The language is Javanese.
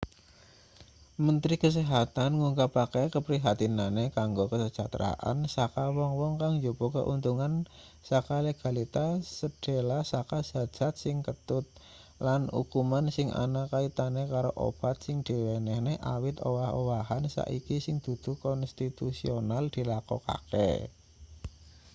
mentri kesehatan ngungkapake keprihatinane kanggo kasejahteraan saka wong-wong kang njupuk keuntungan saka legalitas sedhela saka zat-zat sing ketut lan ukuman sing ana kaitane karo obat sing diwenehne awit owah-owahan saiki sing dudu konstitusional dilakokake